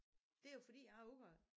Det er jo fordi jeg er ud af